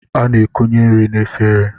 A na-ekunye nri n'efere.